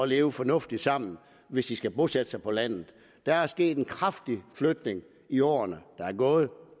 leve fornuftigt sammen hvis de skal bosætte sig på landet der er sket en kraftig flytning i årene der er gået